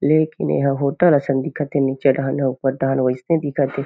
लेकिन एहा होटल असन दिखत हे नीचे डाहन ऊपर डाहन वइसने दिखत हे।